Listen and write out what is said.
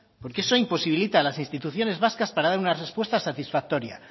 porque eso imposibilita a las instituciones vascas para dar una respuesta satisfactoria